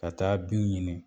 Ka taa binw ɲini